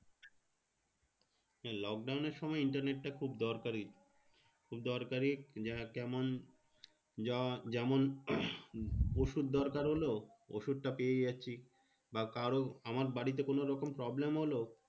Lockdown এর সময় internet টা খুব দরকারি। দরকারি যে কেমন যা যেমন ওষুধ দরকার হলো? ওষুধটা পেয়ে যাচ্ছি। বা কারো আমার বাড়িতে কোনোরকম problem হলো?